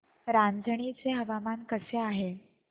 रांझणी चे हवामान कसे आहे